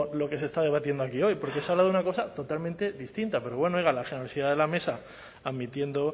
lo que se está debatiendo aquí hoy porque se habla de una cosa totalmente distinta pero bueno oiga la generosidad de la mesa admitiendo